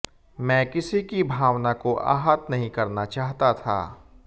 मैं किसी की भावना को आहत नहीं करना चाहता था